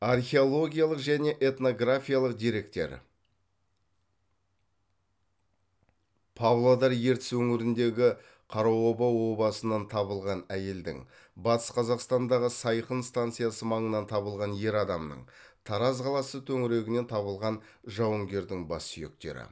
археологиялық және этнографиялық деректер павлодар ертіс өңіріндегі қараоба обасынан табылған әйелдің батыс қазақстандағы сайқын станциясы маңынан табылған ер адамның тараз қаласы төңірегінен табылған жауынгердің бассүйектері